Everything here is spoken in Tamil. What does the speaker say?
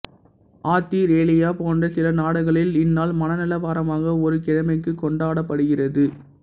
ஆத்திரேலியா போன்ற சில நாடுகளில் இந்நாள் மனநல வாரமாக ஒரு கிழமைக்கு கொண்டாடப்படுகிறது